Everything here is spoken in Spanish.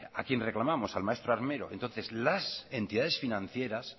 a quién reclamamos al maestro armero entonces las entidades financieras